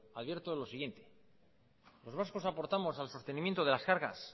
advierto lo siguiente los vascos aportamos al sostenimiento de las cargas